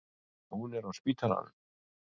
Hún er á spítalanum.